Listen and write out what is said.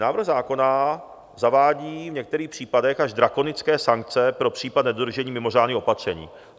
Návrh zákona zavádí v některých případech až drakonické sankce pro případ nedodržení mimořádných opatření.